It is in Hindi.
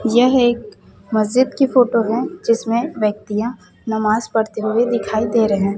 यह एक मस्जिद की फोटो है जिसमें व्यक्तियां नमाज पढ़ते हुए दिखाई दे रहे हैं।